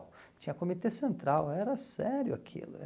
Tinha comitê central, era sério aquilo.